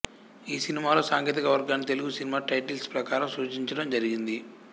ఈ సినిమాలో సాంకేతిక వర్గాన్ని తెలుగు సినిమా టైటిల్స్ ప్రకారం సూచించడం జరిగింది